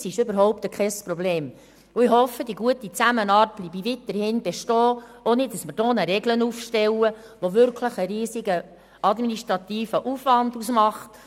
Das ist überhaupt kein Problem, und ich hoffe, die gute Zusammenarbeit bleibe weiterhin bestehen, ohne dass wir hier eine Regel aufstellen, die einen wirklich riesigen administrativen Aufwand verursacht.